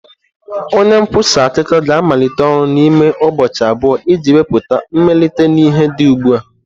Onye nkwusa akụkọ ga-amalite ọrụ n'ime ụbọchị abụọ iji wepụta mmelite na ihe dị ugbu a.